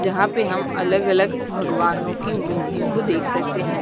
जहाँ पे हम अलग-अलग भगवानों की मूर्तियों को देख सकते हैं।